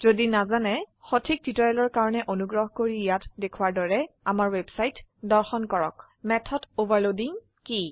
যদি নাজানে তেন্তে সঠিক টিউটৰিয়েলৰ কাৰনে অনুগ্ৰহ কৰি ইয়াত দেখোৱাৰ দৰে আমাৰ ৱেবছাইট দৰ্শন কৰক httpwwwspoken tutorialঅৰ্গ মেথড অভাৰলোডিং কি